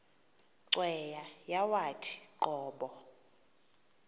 cweya yawathi qobo